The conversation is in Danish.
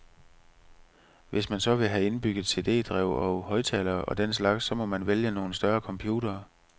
Hvis man så vil have indbygget cd-drev og højttalere og den slags, så må man vælge nogle større computere.